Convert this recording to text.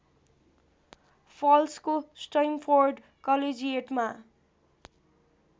फल्सको Stamford कलेजिएटमा